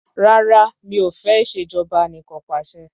Rárá o mi ò fẹ́ ìṣèjọba anìkanpàṣẹ.